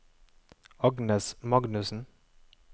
Agnes Magnussen